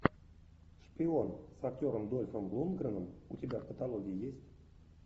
шпион с актером дольфом лундгреном у тебя в каталоге есть